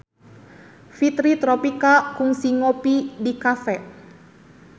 Fitri Tropika kungsi ngopi di cafe